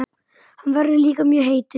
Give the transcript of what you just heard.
Hann verður líka mjög heitur.